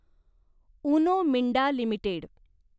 Uno Minda limited